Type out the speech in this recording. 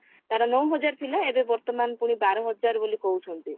ତାର ନଅ ହଜାର ଥିଲା ଏବେ ବର୍ତମାନ ପୁଣି ବାର ହଜାର ବୋଲି କହୁଛନ୍ତି